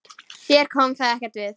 Þér kom það ekkert við!